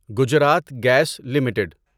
Gujarat gas limited